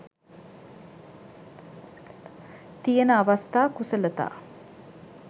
තියෙන අවස්ථා කුසලතා